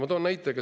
Ma toon näite.